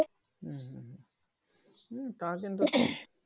হুম হুম, হুম তা কিন্তু,